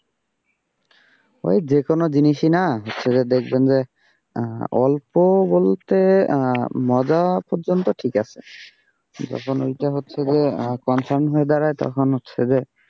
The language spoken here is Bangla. ওই যে কোন জিনিসই না হচ্ছে দেখবেন যে অল্প বলতে আহ মজা পর্যন্ত ঠিক আছে, যখন ওইটা হচ্ছে যে confirm হয়ে দাঁড়ায় তখন হচ্ছে যে,